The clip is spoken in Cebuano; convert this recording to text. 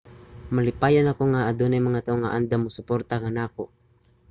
malipayon ako nga adunay mga tawo nga andam mosuporta kanako